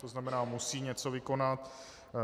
To znamená musí něco vykonat.